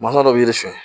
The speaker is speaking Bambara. Manɔgɔ bɛ yiri sun